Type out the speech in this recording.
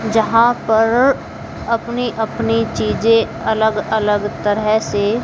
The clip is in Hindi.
जहां पर अपनी अपनी चीजें अलग अलग तरह से--